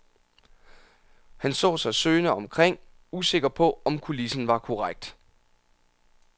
Han så sig søgende omkring, usikker på, om kulissen var korrekt.